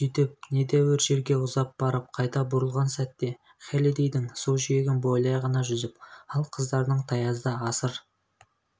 сөйтіп недәуір жерге ұзап барып қайта бұрылған сәтте хеллидэйдің су жиегін бойлай ғана жүзіп ал қыздардың таязда асыр